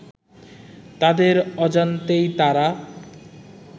তাদের অজান্তেই তারা